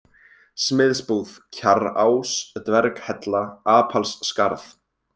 Smiðsbúð, Kjarrás, Dverghella, Apalsskarð